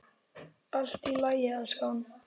Allt í lagi, elskan.